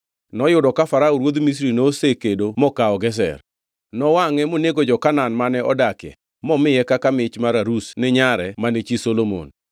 (Noyudo ka Farao ruodh Misri nosekedo mokawo Gezer. Nowangʼe monego jo-Kanaan mane odakie momiye kaka mich mar arus ni nyare mane chi Solomon.